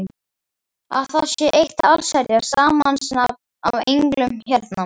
Að það sé eitt allsherjar samansafn af englum hérna!